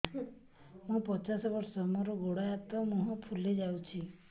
ମୁ ପଚାଶ ବର୍ଷ ମୋର ଗୋଡ ହାତ ମୁହଁ ଫୁଲି ଯାଉଛି